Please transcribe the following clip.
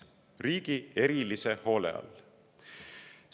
Riigi erilise hoole all!